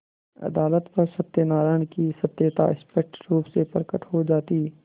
अदालत पर सत्यनारायण की सत्यता स्पष्ट रुप से प्रकट हो जाती